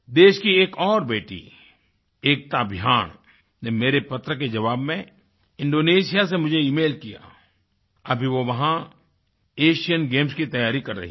देश की एक और बेटी एकता भयान ने मेरे पत्र के जवाब में इंडोनेशिया से मुझे इमेल किया अभी वो वहाँ एशियन गेम्स की तैयारी कर रही हैं